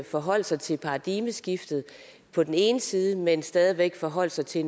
forholde sig til paradigmeskiftet på den ene side men stadig væk forholde sig til